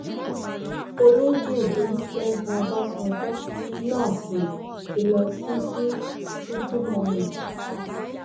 olóye olùṣègùn ọbàṣánjọ náà um ti lọ sí sí kútímọnù